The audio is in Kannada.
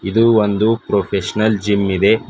ಇದು ಒಂದು ಪ್ರೊಫೆಷನಲ್ ಜಿಮ್ ಇದೆ.